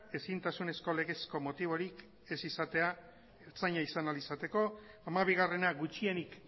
ezintasunezko legezko motiborik ez izatea ertzaina izan ahal izateko hamabigarrena gutxienik